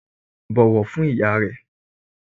Bọ̀wọ̀ fún iyá rẹ!